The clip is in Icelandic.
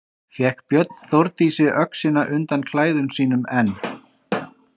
Fékk Björn Þórdísi öxina undan klæðum sínum en